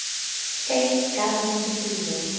states government approval